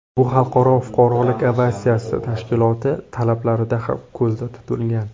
Bu Xalqaro fuqarolik aviatsiyasi tashkiloti talablarida ham ko‘zda tutilgan.